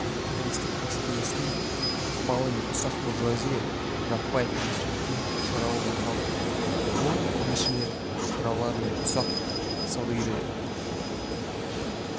капиталистік бәсекелестіктің ықпалы мен ұсақ буржуазия жаппай кедейшілікке ұшырауы байқалды қол өнершілер шаруалар мен ұсақ саудагерлер